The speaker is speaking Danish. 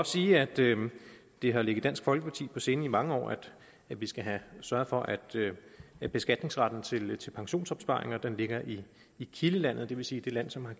sige at det det har ligget dansk folkeparti på sinde i mange år at vi skal sørge for at at beskatningsretten til til pensionsopsparinger ligger i i kildelandet det vil sige det land som har